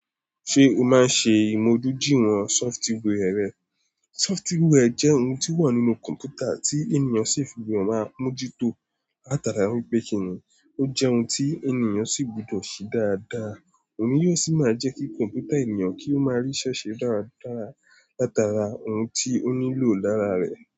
Ṣé o máa ń ṣe ìmójuduiwon software rẹ? Software jẹ́ ohun tí ó wà nínú kọ̀m̀pútà tí ènìyàn ṣi gbudo máa ń mójútó látara wípé kíni ó jẹ́ ohun tí ènìyàn sì gbọdọ̀ ṣe dáadáa. Òun yóò sì máa jẹ́ kí kọ̀m̀pútà ènìyàn kí ó máa rí ise se dára dára látara ohun tí ó nílò lára rẹ̀.